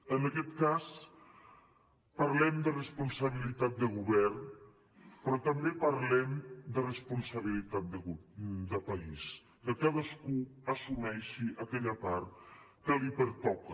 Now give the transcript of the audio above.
en aquest cas parlem de responsabilitat de govern però també parlem de responsabilitat de país que cadascú assumeixi aquella part que li pertoca